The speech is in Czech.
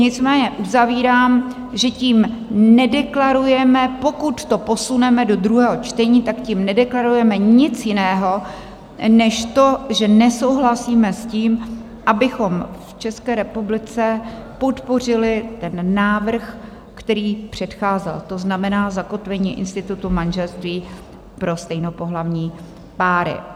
Nicméně uzavírám, že tím nedeklarujeme, pokud to posuneme do druhého čtení, tak tím nedeklarujeme nic jiného než to, že nesouhlasíme s tím, abychom v České republice podpořili ten návrh, který předcházel, to znamená zakotvení institutu manželství pro stejnopohlavní páry.